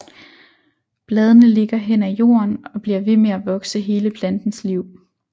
Bladene ligger hen af jorden og bliver ved med at vokse hele plantens liv